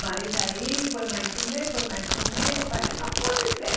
Mas aí foi mais um mês, foi mais um mês, eu falei, não pode ser.